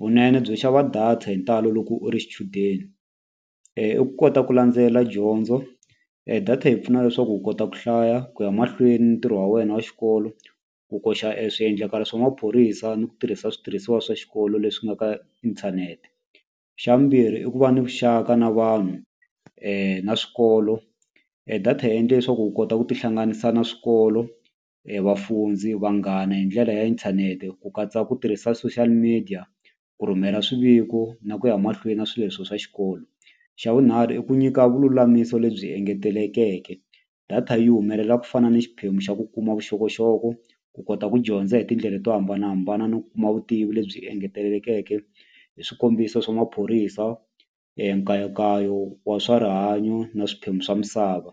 Vunene byo xava data hi ntalo loko u ri xichudeni i ku kota ku landzela dyondzo data yi pfuna leswaku u kota ku hlaya ku ya mahlweni ni ntirho wa wena wa xikolo ku koxa e swiendlakalo swa maphorisa ni ku tirhisa switirhisiwa swa xikolo leswi nga ka inthanete. Xa vumbirhi i ku va ni vuxaka na vanhu na swikolo data yi endle leswaku u kota ku tihlanganisa na swikolo vafundzi vanghana hi ndlela ya inthanete ku katsa ku tirhisa social media ku rhumela swiviko na ku ya mahlweni na swilo leswiya swa xikolo. Xa vunharhu i ku nyika vululamisi lebyi engetelekeke data yi humelela ku fana na xiphemu xa ku kuma vuxokoxoko ku kota ku dyondza hi tindlela to hambanahambana no kuma vutivi lebyi engetelekeke hi swikombiso swa maphorisa nkayakayo wa swa rihanyo na swiphemu swa misava.